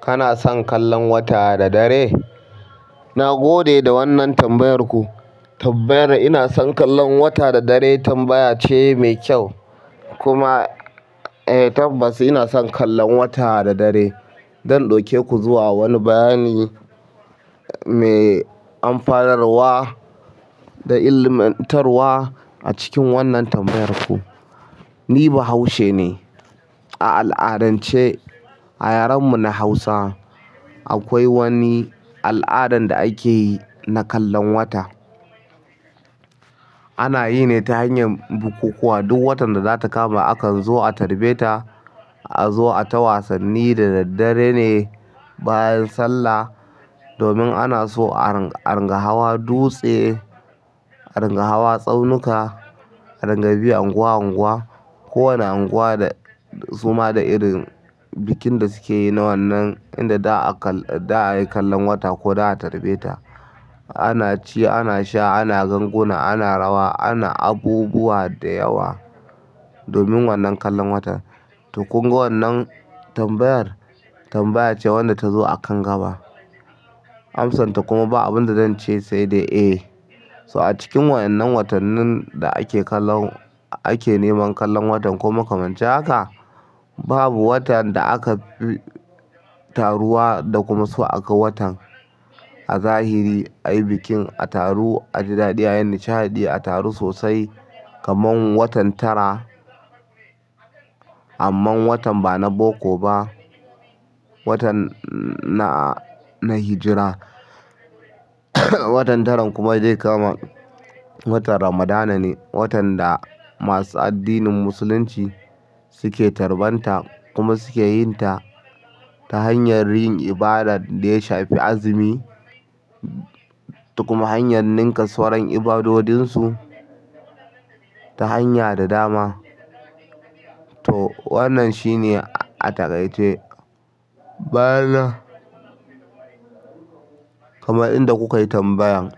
Kana son kallon wata da dare? Na gode da wannan tambayarku. Tambayar "ina son kallon wata da dare" tambaya ce mai kyau kuma eh tabbas ina son kallon wata da dare. Zan ɗauke ku zuwa wani bayani mai amfanarwa da ilmantarwa a cikin wannan tambayarku. Ni bahaushe ne. A al'adance a yaren mu na Hausa akwai wani al'adan da akeyi na kallon wata. Ana yi ne ta hanyar bukukuwa duk watan da zata kama akan zo a tarbeta, a zo a ta wasanni da daddare ne bayan sallah. Domin ana so a ringa hawa dutse, a rangawa tsaunuka, a rangabi unguwa unguwa. Kowane unguwa da suma da irin bikin da sukeyi na wannan inda za'a yi kallon wata ko za'a tarbeta. Ana ci, ana sha, ana ganguna, ana rawa, ana abubuwa da yawa domin wannan kallon wata. To kunga wannan tambayar tambaya ce wadda ta zo a kan gaba. Amsan ta kuma ba abinda zanje sai da eh. So a cikin waɗannan watannin da ake kallon, ake neman kallon watan kuma makamanci haka, babu watan da aka taruwa da kuma so aga watan a zahiri a yi bikin, a taru, a ji daɗi, a yi nishaɗi, a taru sosai kamar watan tara. Amman watan ba na boko ba. Watan na hijra. Watan taran kuma zai kama watan ramadana ne. Watan da masu addinin musulunci suke tarbanta kuma suke yinta ta hanyar yin ibadar da ya shafi azumi to kuma hanyar ninka sauran ibadodinsu ta hanya da dama. To wannan shine a takaice. Bana kamar inda kukayi tambayan.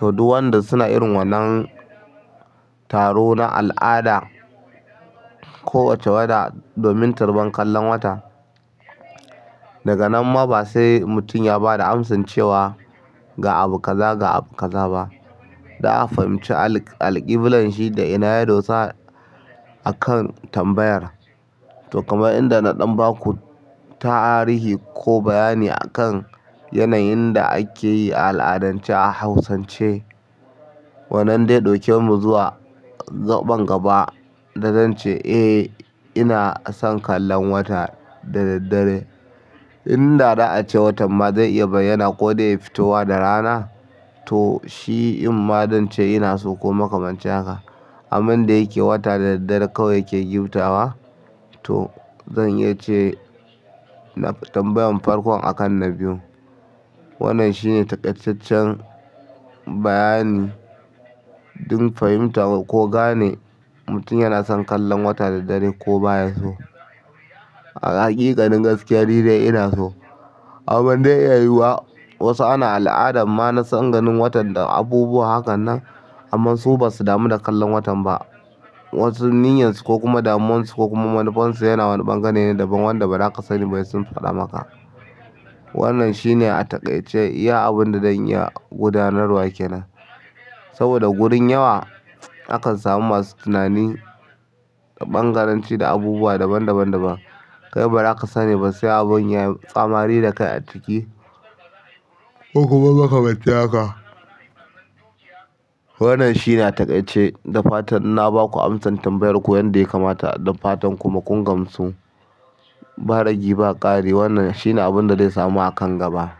To duk wanda suna irin wannan taro na al'ada ko wace wata domin tarban kallon wata. Daga nan ma ba sai mutum ya bada amsa cewa ga abu kaza ga abu kaza ba. Da a fahimci alƙiblanshi da ina yado sa a kan tambayar. To kamar inda na ɗan baku ta tarihi ko bayani akan yanayin da akeyi a al'adance a hausance. Wannan dai ɗauke mu zuwa zaɓen gaba da zance "Eh ina son kallon wata da daddare." Inda za a ce watan ma zai iya bayyana ko dai fitowa da rana. To shi in ma don ce ina so ko makamanci haka. Amman dayake wata da dare kawai yake gifta wa. To zan iya ce na tambayan farkon akan na biyu. Wannan shine taƙaitaccen bayani dun fahimta ko gane mutum yana son kallon wata da dare ko baya so. A haƙiƙanin gaskiya ni dai ina so. Abin da ya yiwuwa wasu ana al'adan ma na tsanganin watan da abubuwa hakanan amma su basu damu da kallon watan ba. Wasu niyyansu ko kuma damomansu ko kuma manufonsu yana wani bangane ne daban wanda ba za ka sani ba sai sun faɗa maka. Wannan shine a takaice iya abunda zan iya gudanarwa ke nan. Saboda wurin yawa akan samu masu tunani da ɓangaranci da abubuwa daban daban daban. Kai ba za ka sani ba sai abin ya yi tsamari da kai a ciki. Ko kuma ka makamanci haka. Wannan shi na takaice da fatan na baku amsar tambayar ku yadda ya kamata. Da fatan kuma kun gamsu. Baragi ba ƙari wannan shine abun da zai samu akan gaba.